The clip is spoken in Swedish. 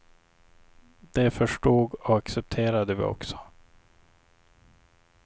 Det förstod och accepterade vi också.